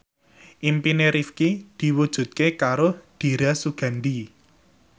impine Rifqi diwujudke karo Dira Sugandi